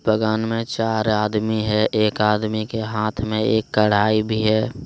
बगान मे चार आदमी है एक आदमी के हाथ मे एक कड़ाई भी है।